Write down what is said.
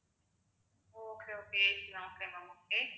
okay, okayAC ன்னா okay ma'am okay